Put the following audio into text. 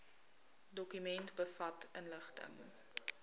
dokument bevat inligting